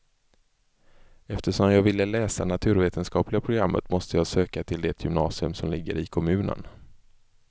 Eftersom jag ville läsa naturvetenskapliga programmet måste jag söka till det gymnasium som ligger i kommunen.